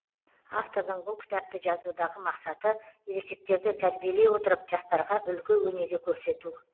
автордың бұл кітапты жазудағы мақсаты ересектерді тәрбиелей отырып жастарға үлгі өнеге көрсету